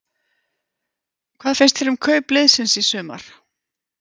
Hvað finnst þér um kaup liðsins í sumar?